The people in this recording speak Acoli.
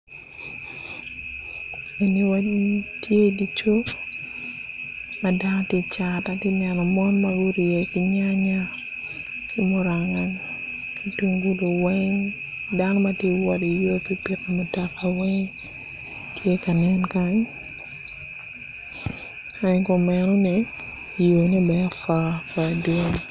Eni odi magitye idye cuk ma dano tye icat atye ka neno mon ma gurye ki nyanya ki muranga ki tungulu weng dano matye iwot iyor pipiki mutola weng tye ka nen kany kadi kumeno ni yor-ne bene apua apua dwong